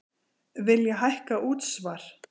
Vilja hækka útsvar